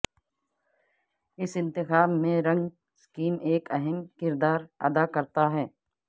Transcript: اس انتخاب میں رنگ سکیم ایک اہم کردار ادا کرتا ہے